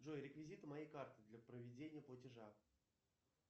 джой реквизиты моей карты для проведения платежа